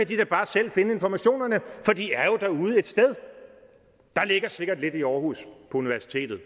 de da bare selv finde informationerne for de er jo derude et sted der ligger sikkert lidt i aarhus på universitetet